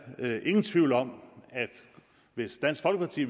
ingen tvivl om at hvis dansk folkeparti